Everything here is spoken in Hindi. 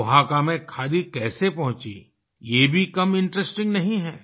ओहाका में खादी कैसे पहुँचीं ये भी कम इंटरेस्टिंग नहीं है